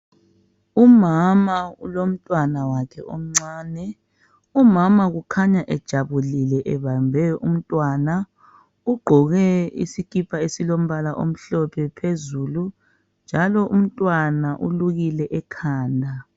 Umama ulomntwana wakhe omncane. Umama kukhanya ejabulile, ebambe umntwana . Ugqoke isikipa esilombala omhlophe phezulu, njalo umntwana ulukile ekhanda.